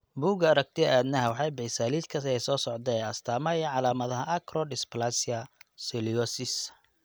Bugga Aragtiyaha Aadanaha waxay bixisaa liiska soo socda ee astaamaha iyo calaamadaha Acrodysplasia scoliosis.